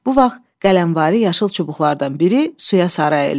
Bu vaxt qələmvari yaşıl çubuqlardan biri suya sarı əyildi.